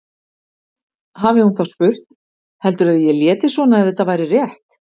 Hafi hún þá spurt: Heldurðu að ég léti svona ef þetta væri rétt?